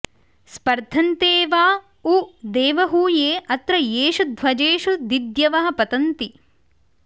स्पर्धन्ते वा उ देवहूये अत्र येषु ध्वजेषु दिद्यवः पतन्ति